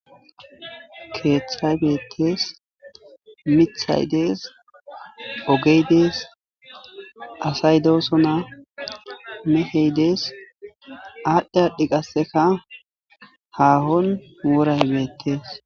Keeththaybeettes mithaydees ogeydees asay doosona meheydees aadhdhe aadhdhi qasseka haahon woray beettees.